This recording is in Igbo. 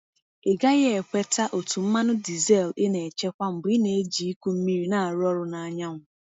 Ị gaghị ekweta otú mmanụ diesel ị na-echekwa mgbe ị na-eji ịkụ mmiri na-arụ ọrụ na anyanwụ.